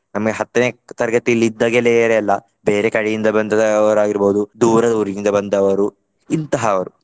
ನಮಗೆ ಹತ್ತನೇ ತರಗತಿಯಲ್ಲಿ ಇದ್ದ ಗೆಳೆಯರೆಲ್ಲ ಬೇರೆ ಕಡೆಯಿಂದ ಬಂದದ್ದುವರಾಗಿರ್ಬಹುದು. ದೂರದ ಊರಿನಿಂದ ಬಂದವರು. ಇಂತಹವರು.